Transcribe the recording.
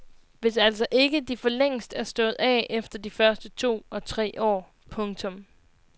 Hvis altså ikke de forlængst er stået af efter de første to og tre år. punktum